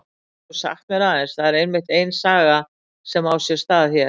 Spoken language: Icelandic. Getur þú sagt mér aðeins, það er einmitt ein saga sem á sér stað hér?